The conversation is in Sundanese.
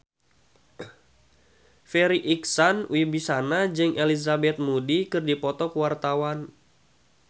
Farri Icksan Wibisana jeung Elizabeth Moody keur dipoto ku wartawan